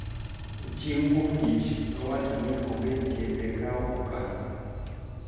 Chieng` Wuok Tich nowacho ni onge tiende kawo okang`